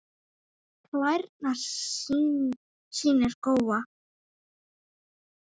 Klærnar sýnir Góa.